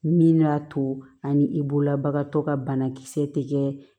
Min y'a to ani i bolola bagan tɔ ka bana kisɛ tɛ kɛ